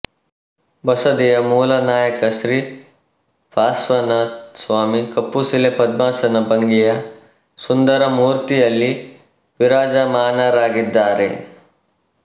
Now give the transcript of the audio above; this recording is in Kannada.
ಬಸದಿಯ ಮೂಲನಾಯಕ ಶ್ರೀ ಪಾರ್ಶ್ವನಾಥ ಸ್ವಾಮಿ ಕಪ್ಪುಶಿಲೆ ಪದ್ಮಾಸನ ಭಂಗಿಯ ಸುಂದರ ಮೂರ್ತಿಯಲ್ಲಿ ವಿರಾಜಮಾನರಾಗಿದ್ದಾರೆ